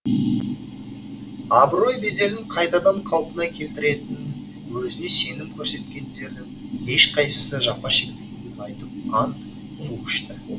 абырой беделін қайтадан қалпына келтіретінін өзіне сенім көрсеткендердің ешқайсысы жапа шекпейтінін айтып ант су ішті